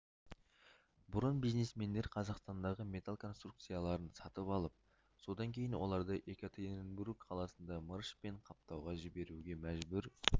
бұрын бизнесмендер қазақстандағы металл конструкцияларын сатып алып содан кейін оларды екатеринбург қаласында мырышпен қаптауға жібіруге мәжбүр